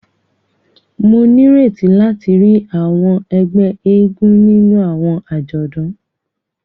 Mo n'ireti láti ríi àwọn ègbé eégún nínú àwọn ajọdun.